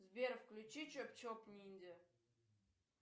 сбер включи чоп чоп ниндзя